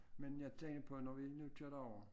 Men jeg tænkte på når vi nu tager derover